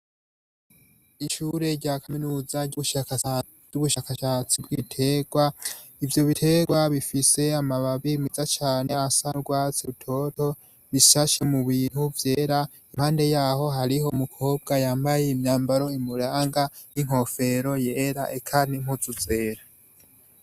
Ishure rya kaminuza ry'ubushakashatsi bw'ibiterwa, ivyo biterwa bifise amababi meza cane asa n'urwatsi rutoto, ishashe mu bintu vyera, impande yaho hari umukobwa yambaye imyambaro imuranga n'inkofero yera, eka n'impuzu zera.